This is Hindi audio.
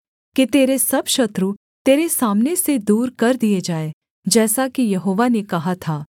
कि तेरे सब शत्रु तेरे सामने से दूर कर दिए जाएँ जैसा कि यहोवा ने कहा था